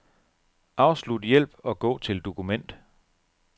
Afslut hjælp og gå til dokument.